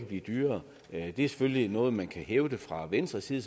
blive dyrere det er selvfølgelig noget man kan hævde fra venstres side